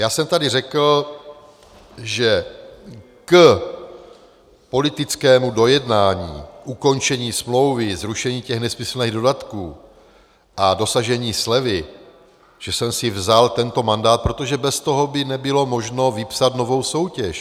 Já jsem tady řekl, že k politickému dojednání ukončení smlouvy, zrušení těch nesmyslných dodatků a dosažení slevy, že jsem si vzal tento mandát, protože bez toho by nebylo možno vypsat novou soutěž.